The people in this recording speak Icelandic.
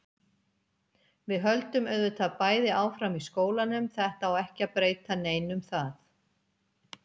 Við höldum auðvitað bæði áfram í skólanum, þetta á ekki að breyta neinu um það.